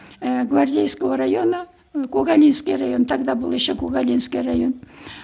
ііі гвардейского района когалинский район тогда был еще когалинский район